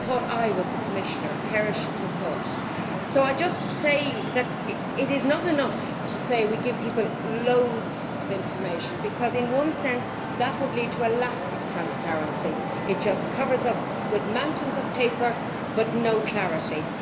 They thought I was the Commissioner perish the thought! It is not enough to say that we give people loads of information, because in one sense, that would lead to a lack of transparency it just covers things up with mountains of paper but no clarity.